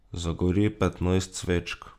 Zagori petnajst svečk.